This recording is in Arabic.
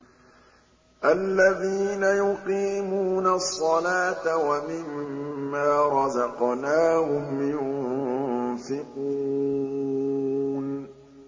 الَّذِينَ يُقِيمُونَ الصَّلَاةَ وَمِمَّا رَزَقْنَاهُمْ يُنفِقُونَ